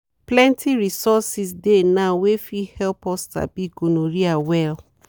plenty resources dey now wey fit help us sabi gonorrhea well.